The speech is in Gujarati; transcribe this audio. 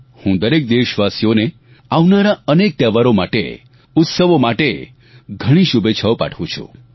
હું દરેક દેશવાસીઓને આવનારા અનેક તહેવારો માટે ઉત્સવો માટે ઘણી શુભેચ્છાઓ પાઠવું છું